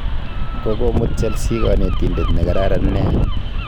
Kokomut chelsea kanetindet ne kararan nea